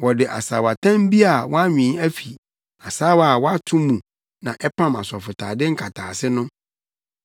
Wɔde asaawatam bi a wɔanwen afi asaawa a wɔato mu na ɛpam asɔfotade nkataase no.